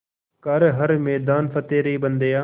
कर हर मैदान फ़तेह रे बंदेया